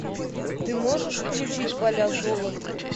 ты можешь включить поля золота